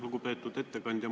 Lugupeetud ettekandja!